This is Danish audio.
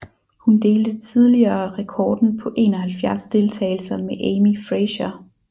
Hun delte tidligere rekorden på 71 deltagelser med Amy Frazier